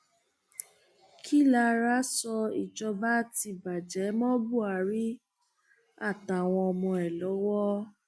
kí alára sọ ìjọba ti bàjẹ mọ buhari àtàwọn ọmọ ẹ lọwọ o